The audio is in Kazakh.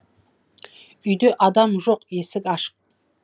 үйде адам жоқ есік ашық